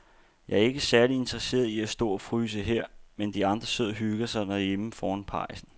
Jeg er ikke særlig interesseret i at stå og fryse her, mens de andre sidder og hygger sig derhjemme foran pejsen.